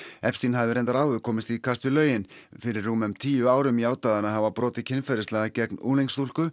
epstein hafði reyndar áður komist í kast við lögin fyrir rúmum tíu árum játaði hann að hafa brotið kynferðislega gegn unglingsstúlku